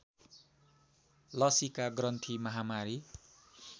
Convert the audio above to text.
लसीका ग्रन्थि महामारी